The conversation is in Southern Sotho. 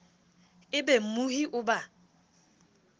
e be mmohi o ba